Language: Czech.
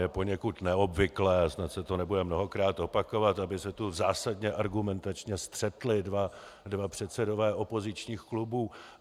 Je poněkud neobvyklé, snad se to nebude mnohokrát opakovat, aby se tu zásadně argumentačně střetli dva předsedové opozičních klubů.